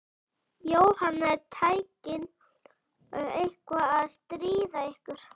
Jóhanna: Er tæknin eitthvað að stríða ykkur?